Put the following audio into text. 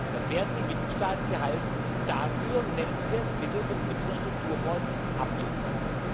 entwickelt, dann wären die Mitgliedstaaten gehalten, dafür nennenswert Mittel von unseren Strukturfonds